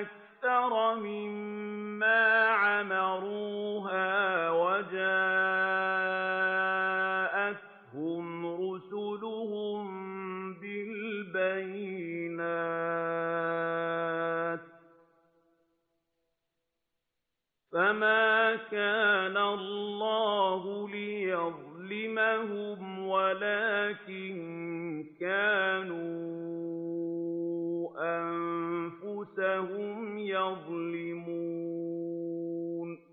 أَكْثَرَ مِمَّا عَمَرُوهَا وَجَاءَتْهُمْ رُسُلُهُم بِالْبَيِّنَاتِ ۖ فَمَا كَانَ اللَّهُ لِيَظْلِمَهُمْ وَلَٰكِن كَانُوا أَنفُسَهُمْ يَظْلِمُونَ